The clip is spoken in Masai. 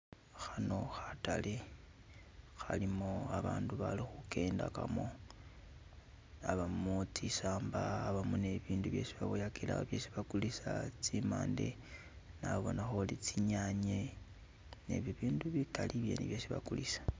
Khano khatale, khalimo abandu bali khu kendamo, abamo tsisamba, abamo I ibindu isi baboyele awo isi bakulisa tsi mande, nabonakho uli tsinyanye ne bibindu bikali isi bakulisa.